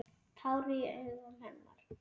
Tár í augum hennar.